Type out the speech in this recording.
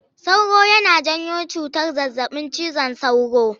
Sauro yana janyo cutar zazzaɓin cizon sauro.